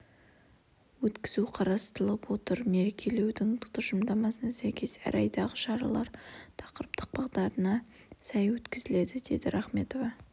өткізу қарастырылып отыр мерекелеудің тұжырымдамасына сәйкес әр айдағы шаралар тақырыптық бағытына сай өткізіледі деді рахметова